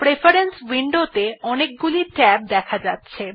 preference window ত়ে অনেকগুলিকে tab দেখা যাচ্ছে